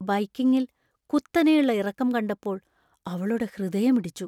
ബൈക്കിംഗിൽ കുത്തനെയുള്ള ഇറക്കം കണ്ടപ്പോൾ അവളുടെ ഹൃദയമിടിച്ചു .